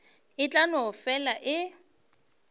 e tla no fela e